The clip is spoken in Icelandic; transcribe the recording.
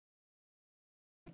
segir hann miður sín.